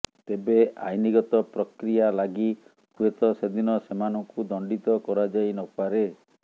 ତେବେ ଆଇନଗତ ପ୍ରକ୍ରିୟା ଲାଗି ହୁଏତ ସେଦିନ ସେମାନଙ୍କୁ ଦଣ୍ଡିତ କରାଯାଇନପାରେ